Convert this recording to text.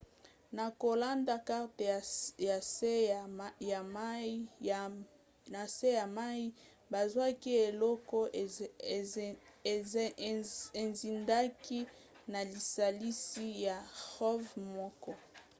na kolanda karte ya nse ya mai bazwaki eloko ezindaki na lisalisi ya rov moko